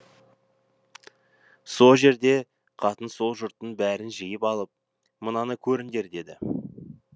сол жерде қатын сол жұрттың бәрін жиып алып мынаны көріңдер деді